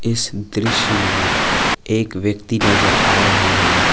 इस दृश्य में एक व्यक्ति नजर आ रहे हैं।